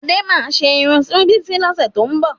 Adé máa ṣe irun fún Bísí lọ́sẹ̀ tó ń bọ̀